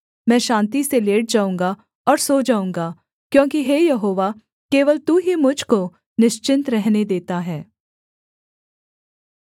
मैं शान्ति से लेट जाऊँगा और सो जाऊँगा क्योंकि हे यहोवा केवल तू ही मुझ को निश्चिन्त रहने देता है